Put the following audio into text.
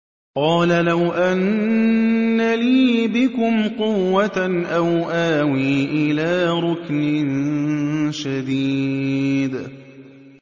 قَالَ لَوْ أَنَّ لِي بِكُمْ قُوَّةً أَوْ آوِي إِلَىٰ رُكْنٍ شَدِيدٍ